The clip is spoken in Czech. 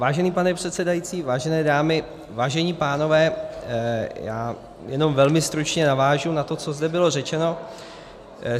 Vážený pane předsedající, vážené dámy, vážení pánové, já jenom velmi stručně navážu na to, co zde bylo řečeno.